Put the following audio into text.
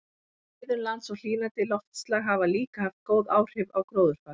Friðun lands og hlýnandi loftslag hafa líka haft góð áhrif á gróðurfar.